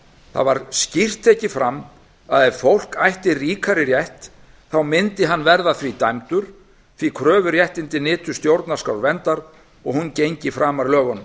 það var skýrt tekið fram að ef fólk ætti ríkari rétt yrði hann því dæmdur því að kröfuréttindin nytu stjórnarskrárverndar og hún gengi framar lögunum